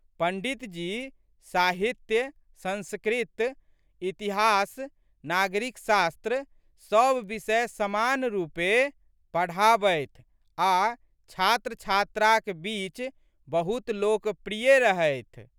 पंड़ितजी साहित्य, संस्कृत, इतिहास, नागरिक शास्त्र सब विषय समान रूपेँ पढ़ाबथि आ छात्रछात्राक बीच बहुत लोकप्रिय रहथि।